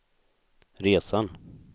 resan